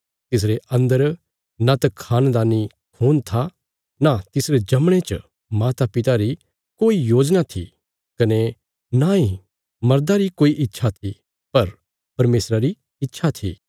तिसरे अन्दर नांत खानदानी खून था नां तिसरे जमणे च मातापिता री कोई योजना थी कने नांई मर्दा री कोई इच्छा थी पर परमेशरा री इच्छा थी